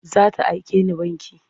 Za ta aike ni banki.